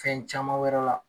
Fɛn caman wɛrɛ la